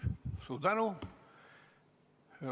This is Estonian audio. Suur tänu!